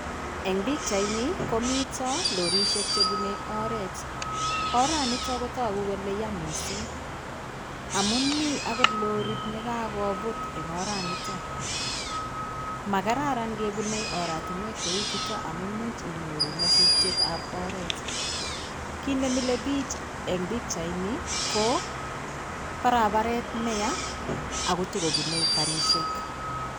Eng pichaini mito lorisiek che bunei oret. Oranitok kotagu kole ya mising amun mi agot lorit negagobut eng oranitok. Magararan kebunei oratinwek cheu chuto amumuch inyoru nyasutietab oret. Kit ne mile biich eng pichaini ko barabaret neya ago tagobunei karisiek.